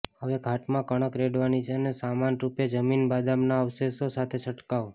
હવે ઘાટ માં કણક રેડવાની છે અને સમાનરૂપે જમીન બદામ ના અવશેષો સાથે છંટકાવ